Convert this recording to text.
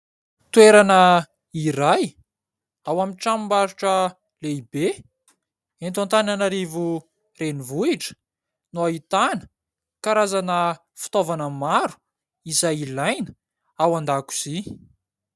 Toerana iray ao amin'ny tranom-barotra lehibe eto Antananarivo renivohitra no ahitana karazana fitaovana maro, izay ilaina ao an-dakozia.